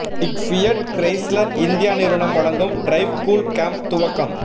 Fiat Chrysler India நிறுவனம் வழங்கும் drive cool camp துவக்கம்